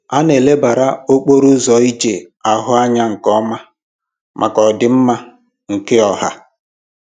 A na-elebara okporo ụzọ ije ahụ anya nke ọma maka ọdị mma nke ọha